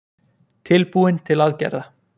Tilbúin til aðgerða